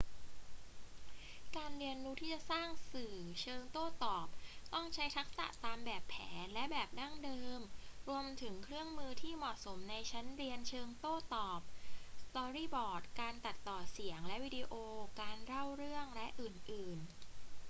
การเรียนรู้ที่จะสร้างสื่อเชิงโต้ตอบ ต้องใช้ทักษะตามแบบแผนและแบบดั้งเดิม รวมถึงเครื่องมือที่เหมาะสมในชั้นเรียนเชิงโต้ตอบ สตอรี่บอร์ด การตัดต่อเสียงและวิดีโอ การเล่าเรื่อง และอื่น ๆ